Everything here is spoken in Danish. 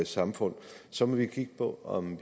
samfund så må vi kigge på om